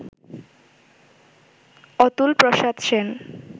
Atul Prasad Sen